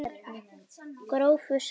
Grófu salti sáldrað yfir.